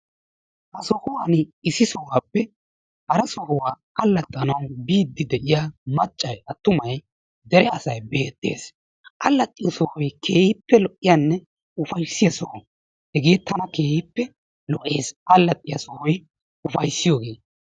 Ha sohuwan issi sohuwappe hara sohuwaa allaxxanawu biiddi de'iya maccay attumay dere asay beettees. Alaaxxiyo sohoy keehippe lo'iyanne ufayissiya soho. Hegeekka keehippe lo'ees. Allaxxiyo sohoy ufayissiyogee.